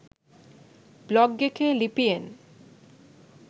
blog එකේ ලිපියෙන්